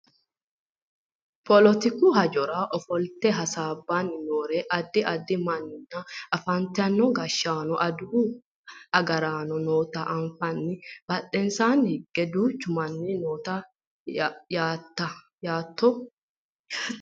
poletiku hajora ofolte hasaabbanni noore addi addi mannanna afantino gashshaanonna adawu agaraano noota anfanni badhensaanni hige duuchu manni no yaate